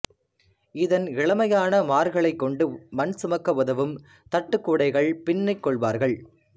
இதன் இளமையான மார்களைக் கொண்டு மண் சுமக்க உதவும் தட்டுக்கூடைகள் பின்னிக்கொள்வார்கள்